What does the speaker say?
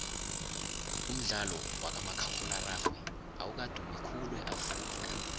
umdlalo wakamakhakhulararhwe awukadumi khulu eafrikha